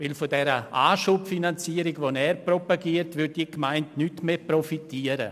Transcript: Mit der von ihm propagierten Anschubfinanzierung würde diese Gemeinde nicht mehr profitieren.